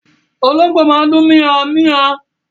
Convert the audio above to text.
Olóngbó máa ń dùn mia-un-mia-un